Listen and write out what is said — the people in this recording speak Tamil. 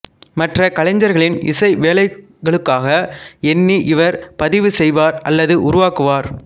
மற்ற கலைஞர்களின் இசை வேலைகளுக்காக எண்ணி இவர் பதிவு செய்வார் அல்லது உருவாக்குவார்